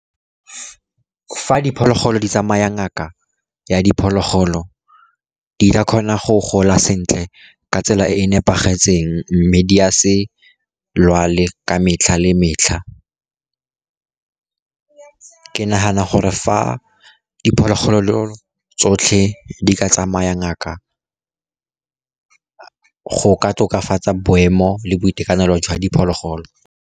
Fa diphologolo di tsamaya ngaka ya diphologolo, di ka kgona go gola sentle ka tsela e e nepagetseng, mme di a se lwale ka metlha le metlha. Ke nagana gore fa diphologolo tsotlhe di ka tsamaya ngaka, go ka tokafatsa boemo le boitekanelo jwa diphologolo.